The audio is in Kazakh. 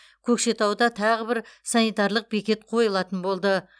көкшетауда тағы бір санитарлық бекет қойылатын болды